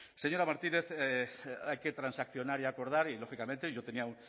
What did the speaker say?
señora martínez hay que transaccionar y acordar y lógicamente yo tenía